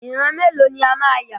Ìran mélòó ni a máa yà?